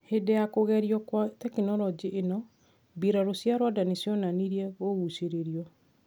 Hindi ya kugerio gwa teknoroji ino, mbiraru cia Rwanda nicionanirie kuguciririo,